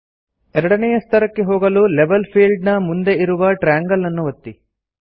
ಎರಡನೇಯ ಸ್ತರಕ್ಕೆ ಹೋಗಲು ಲೆವೆಲ್ ಫೀಲ್ಡ್ ನ ಮುಂದೆ ಇರುವ ಟ್ರ್ಯಾಂಗಲ್ ಅನ್ನು ಒತ್ತಿ